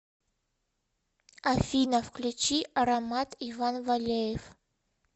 афина включи аромат иван валеев